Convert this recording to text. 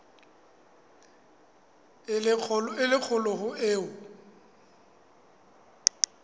e le kgolo ho eo